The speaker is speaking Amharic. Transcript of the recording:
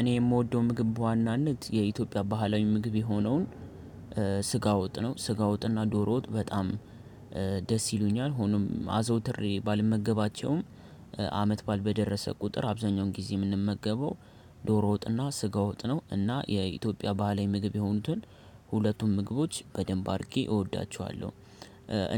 እኔ የምወደው ምግብ በዋናነት የኢትዮጵያ ባህላዊ ምግብ የሆነውን ስጋ ወጥ ነው። ስጋ ወጥና ዶሮ ወጥ በጣም ደስ ይሉኛል። ሆኖም አዘውትሬ ባልመገባቸውም አመት ባል በደረሰ ቁጥር አብዛኛውን ጊዜ የምንመገበው ዶሮ ወጥና ስጋ ወጥ ነው። እና የኢትዮጵያ ባህላዊ ምግብ የሆኑትን ሁለቱም ምግቦች በደንብ አድርጌ እወዳቸዋለሁ።